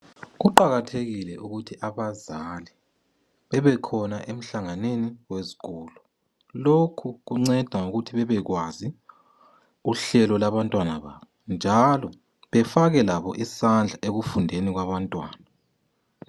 Kuqakathekile ukuthi abazali bebekhona emhlanganweni wezikolo lokhu ukunceda ngokuthi bebekwazi uhlelo lwabantwana babo njalo befake labo isandla ekufundeni kwabantwana.